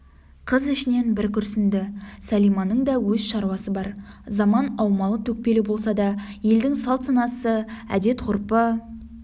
қыз ішінен бір күрсінді сәлиманың да өз шаруасы бар заман аумалы-төкпелі болса да елдің салт-санасы әдет-ғұрпы